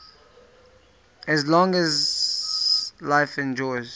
as long as life endures